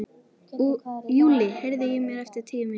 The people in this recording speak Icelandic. Júlli, heyrðu í mér eftir tíu mínútur.